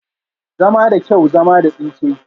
Zama da kyau, zama da tsinke